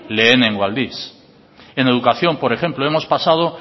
lehenengo aldiz en educación por ejemplo hemos pasado